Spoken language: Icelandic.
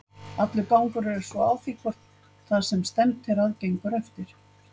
Allur gangur er svo á því hvort það sem stefnt er að gengur eftir.